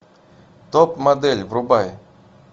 топ модель врубай